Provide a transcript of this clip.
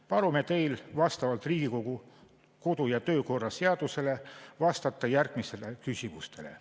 Palume teil vastavalt Riigikogu kodu- ja töökorra seadusele vastata järgmistele küsimustele.